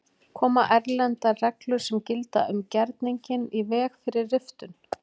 Koma erlendar reglur sem gilda um gerninginn í veg fyrir riftun?